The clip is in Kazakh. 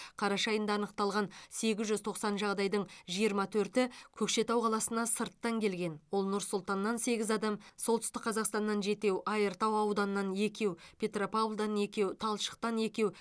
қараша айында анықталған сегіз жүз тоқсан жағдайдың жиырма төрті көкшетау қаласына сырттан келген ол нұр сұлтаннан сегіз адам солтүстік қазақстаннан жетеу айыртау ауданынан екеуеу петропавлдан екеу талшықтан екеу